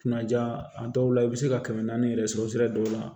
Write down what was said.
Kunnaja a dɔw la i bɛ se ka kɛmɛ naani yɛrɛ sɔrɔ sira dɔw la